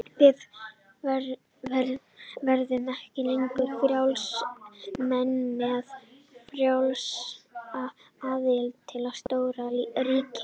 Við verðum ekki lengur frjálsir menn með frjálsa aðild að stóru ríki.